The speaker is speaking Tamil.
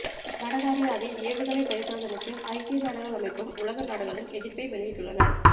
வடகாரியாவின் ஏவுகணை பரிசோதனைக்கு ஐக்கிய நாடுகள் அமைப்பும் உலக நாடுகளும் எதிர்ப்பை வெளியிட்டுள்ளன